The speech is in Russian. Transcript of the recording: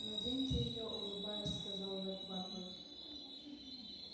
наденьте её улыбаясь сказал ретт батлер